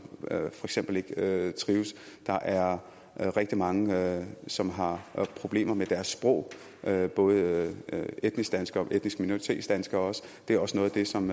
ikke trives der er rigtig mange som har problemer med deres sprog og det er både etnisk danskere og etnisk minoritetsdanskere det er også noget af det som